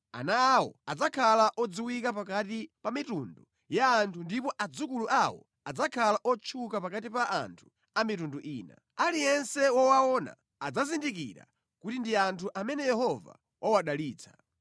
Ana awo adzakhala odziwika pakati pa mitundu ya anthu ndipo adzukulu awo adzakhala otchuka pakati pa anthu a mitundu ina. Aliyense wowaona adzazindikira kuti ndi anthu amene Yehova wawadalitsa.”